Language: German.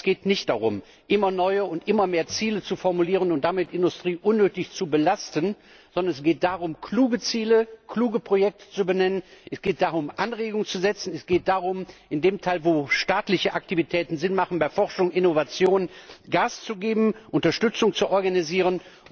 Es geht nicht darum, immer neue, immer mehr Ziele zu formulieren und damit die Industrie unnötig zu belasten, sondern es geht darum, kluge Ziele, kluge Projekte zu benennen, es geht darum, Anregungen zu setzen, es geht darum, in dem Teil, wo staatliche Aktivitäten sinnvoll sind bei Forschung und Innovation Gas zu geben, Unterstützung zu organisieren.